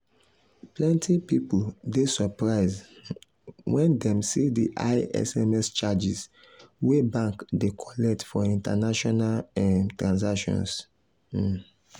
plenty people dey surprised um when dem see the high sms charges wey bank dey collect for international um transactions. um